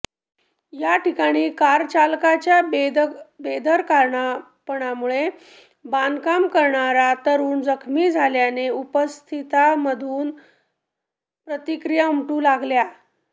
याठिकाणी कार चालकाच्या बेदरकारपणामुळे बांधकाम करणाऱया तरूण जखमी झाल्याने उपस्थितांमधून तीव्र प्रतिक्रिया उमटू लागल्या